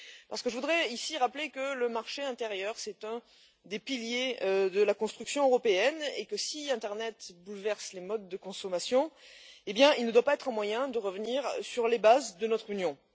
Parce que je voudrais rappeler que le marché intérieur est l'un des piliers de la construction européenne et que, si internet bouleverse les modes de consommation, il ne doit pas être un moyen de revenir sur les bases de notre Union.